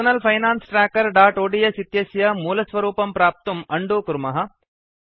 personal finance trackerओड्स् इत्यस्य मूलस्वरूपं प्राप्तुं उन्दो कुर्मः